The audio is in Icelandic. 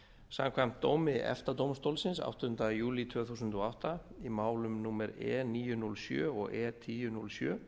samkvæmt dómi efta dómstólsins áttunda júlí tvö þúsund og átta í málum númer e níu núll sjöunda og e tíu núll sjö